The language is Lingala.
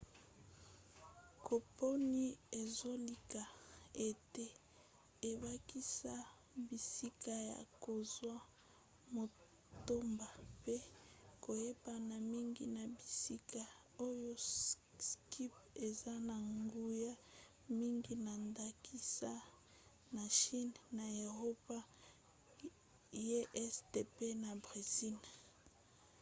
kompani ezolika ete ebakisa bisika ya kozwa matomba mpe koyebana mingi na bisika oyo skype eza na nguya mingi na ndakisa na chine na eropa ye este mpe na bresil